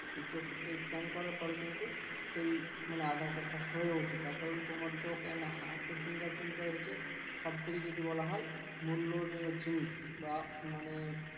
এই চোখ Scan পরে কিন্তু সেই মানে aadhar card টা হয়ে ওঠে তার কারণ তোমার চোখ an হাতের Fingerprint টাই হচ্ছে সবথেকে যদি বলা হয় মূল্য নিউ জিনিস বা মানে